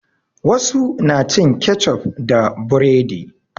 Wasu na cin kecof da buredi.